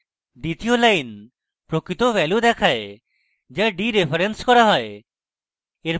দ্বিতীয় line প্রকৃত value দেখায় the theরেফারেন্স করা হয়